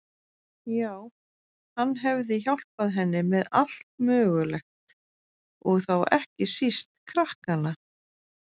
Já, hann hefði hjálpað henni með allt mögulegt, og þá ekki síst krakkana.